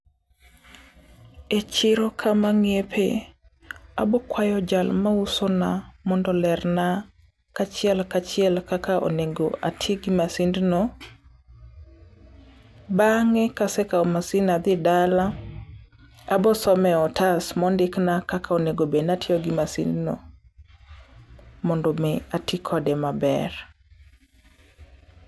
E chiro kama ng'iepe, abokwayo jal mausona mondo lerna kachiel kachiel kaka onego atii gi masindno. Bang'e kasekao masin adhi dala, abosome otas mondikna kaka onego bed natiogi masindno, mondo mii atii kode maber.